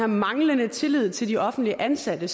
manglende tillid til de offentligt ansatte